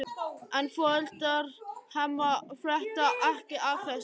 En foreldrar Hemma frétta ekki af þessu.